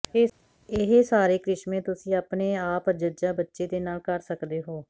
ਇਹ ਸਾਰੇ ਕ੍ਰਿਸ਼ਮੇ ਤੁਸੀਂ ਆਪਣੇ ਆਪ ਜ ਬੱਚੇ ਦੇ ਨਾਲ ਕਰ ਸਕਦੇ ਹੋ